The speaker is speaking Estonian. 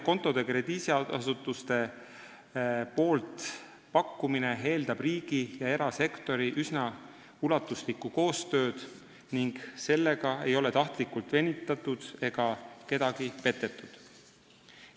Krediidiasutustepoolne kontode pakkumine eeldab üsna ulatuslikku riigi ja erasektori koostööd ning sellega ei ole tahtlikult venitatud ega kedagi petetud.